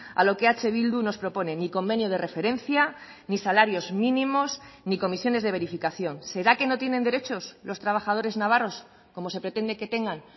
a lo que eh bildu nos propone ni convenio de referencia ni salarios mínimos ni comisiones de verificación será que no tienen derechos los trabajadores navarros como se pretende que tengan